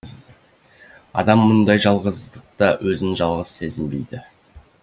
адам мұндай жалғыздықта өзін жалғыз сезінбейді